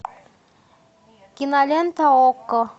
кинолента окко